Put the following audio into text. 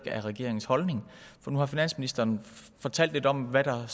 er regeringens holdning for nu har finansministeren fortalt lidt om hvad